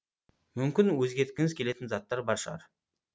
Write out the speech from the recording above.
мүмкін өзгерткіңіз келетін заттар бар шығар